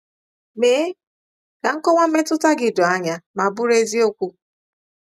Mee ka nkọwa mmetụta gị doo anya ma bụrụ eziokwu.